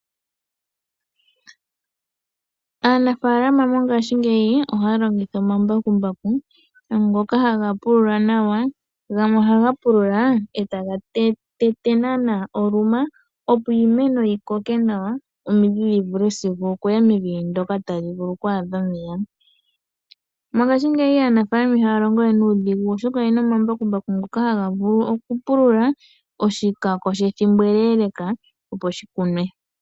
Aanafalama mongashingeyi ohaya longitha omambakumbaku ngoka haga pulula nawa, gamwe ohaga pulula e taga tete naana oluma, opo iimeno yi koke nawa omidhi dhi vule sigo okuya mevi ndoka tali vulu oku adha omeya. Mongashingeyi aanafaalama ihaya longo we nuudhigu oshoka oye na omambakumbaku ngoka haga vulu okupulula oshikako shethimbo ele opo shi kunwe.